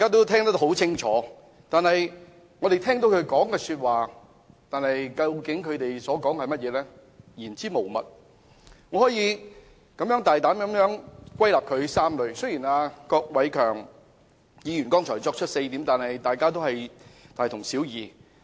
他們的發言言之無物，我可以大膽歸納出3個重點。郭偉强議員剛才提出了4點，其實只是大同小異。